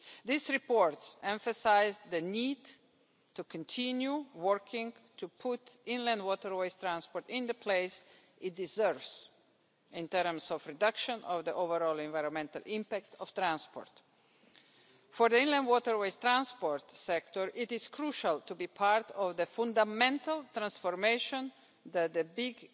These reports emphasise the need to continue working to put inland waterways transport in the place it deserves in terms of a reduction of the overall environmental impact of transport. For the inland waterways transport sector, it is crucial to be part of the fundamental transformation that the big